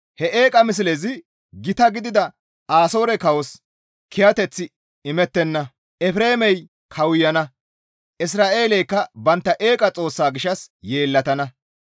He eeqa mislezi gita gidida Asoore kawos kiyateth imettana. Efreemey kawuyana; Isra7eeleykka bantta eeqa xoossa gishshas yeellatana.